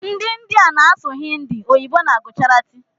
Ndi india na asụ hindi, oyibo na gujarati.